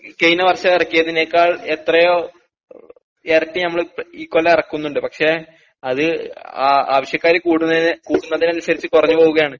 ഈ കയിന വർഷമിറക്കിയതിനെക്കാൾ എത്രയോ എരട്ടി ഞമ്മള് ഈ കൊല്ലം എറക്കുന്നുണ്ട് പക്ഷേ അത് ആ ആവശ്യക്കാര് കൂടുന്നത് കൂടുന്നതനുസരിച്ച് കൊറഞ്ഞു പോവുകയാണ്.